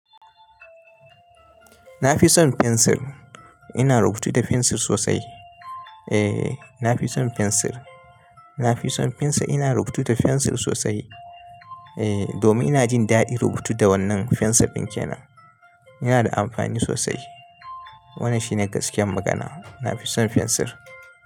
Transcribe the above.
Na fi son fensir. Ina rubutu da fensir sosai. Eh, na fi son fensir. Na fi son fensir. Ina rubutu da fensir sosai. Eh, domin ina jin daɗin rubutu da wannan fensan pincil kenan Yana da amfani sosai. Wannan shine gaskiyar magana. Na fi son fensir.